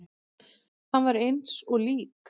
Hann var eins og lík.